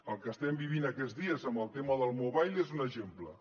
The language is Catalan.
el que estem vivint aquests dies amb el tema del mobile és un exemple